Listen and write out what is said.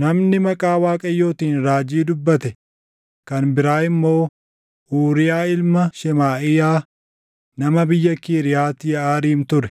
Namni maqaa Waaqayyootiin raajii dubbate kan biraa immoo Uuriyaa ilma Shemaaʼiyaa nama biyya Kiriyaati Yeʼaariim ture;